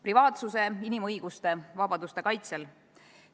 Privaatsuse, inimõiguste ja vabaduste kaitses.